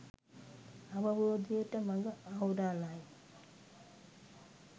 අවබෝධයට මග අහුරාලයි